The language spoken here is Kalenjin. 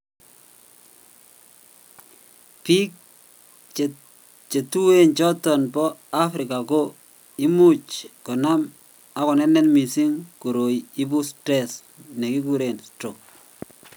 Biik chetuyen choto bo africa ko imuch konam ak konenet missing koroi ibu stress nekekuren stroke